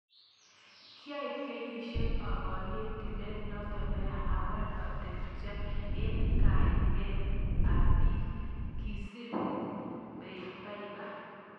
"Kyaib kenyisiek aborie tilet noto neya, awal olatepche eng kanaet ab biik." kisir Bieber.